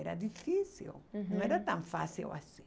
Era difícil, uhum, não era tão fácil assim.